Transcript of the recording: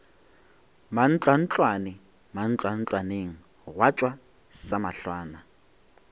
mantlwantlwane mantlwantlwaneng gwa tšwa samahlwana